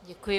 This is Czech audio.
Děkuji.